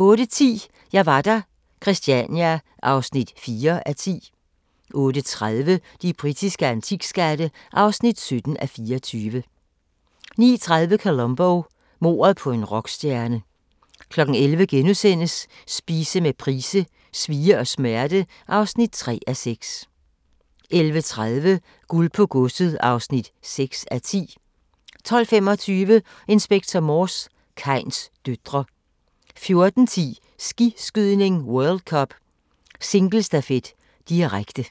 08:10: Jeg var der - Christania (4:10) 08:30: De britiske antikskatte (17:24) 09:30: Columbo: Mordet på en rockstjerne 11:00: Spise med Price: "Svie og smerte" (3:6)* 11:30: Guld på godset (6:10) 12:25: Inspector Morse: Kains døtre 14:10: Skiskydning: World Cup - singlestafet, direkte